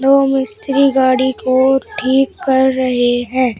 यह मिस्त्री गाड़ी को ठीक कर रहे हैं।